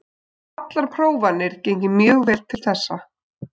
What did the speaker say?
Hafa allar prófanir gengið mjög vel til þessa.